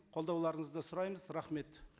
қолдауларыңызды сұраймыз рахмет